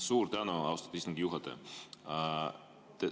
Suur tänu, austatud istungi juhataja!